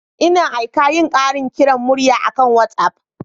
Ina aika yin ƙarin kiran murya akan WhatsApp.